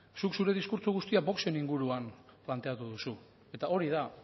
zuk zure diskurtso guztia voxen inguruan planteatu duzu eta hori da